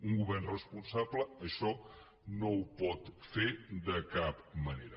un govern responsable això no ho pot fer de cap manera